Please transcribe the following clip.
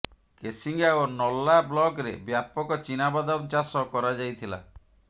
କେସିଗାଂ ଓ ନର୍ଲା ବ୍ଲକରେ ବ୍ୟାପକ ଚିନାବାଦମ ଚାଷ କରାଯାଇଥିଲା